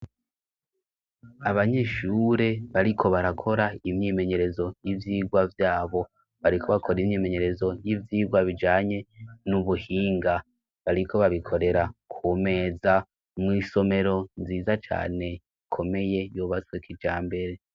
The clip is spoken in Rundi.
Abanyeshure bariko barakora imyimenyerezo y'ivyigwa vyabo. Bariko bakora imyimenyerezo y'ivyigwa bijanye n'ubuhinga, bariko babikorera ku meza mw'isomero nziza cane ikomeye yubatswe kijambere.